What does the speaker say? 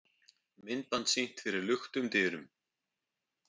Myndband sýnt fyrir luktum dyrum